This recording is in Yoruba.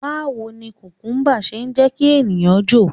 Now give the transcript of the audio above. Báwo ni kùkúmbà ṣe ń jẹ́ kí ènìyàn jò?